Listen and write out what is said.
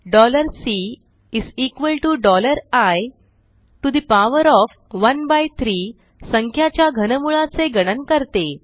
Cआय13 संख्याच्या घनमुळा चे गणन करते